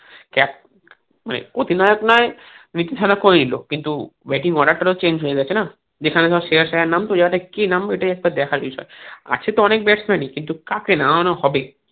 অধিনায়ক নয় নীতিশ রানা করেই নিলো কিন্তু batting order টা ও change যাচ্ছে না যেখানে ধরো শ্রেয়াস আইয়ার নামতো ইহাতে কে নামবে এটাই একটা দেখার বিষয় আছে তো অনেক batsman ই কিন্তু কাকে নামানো হবে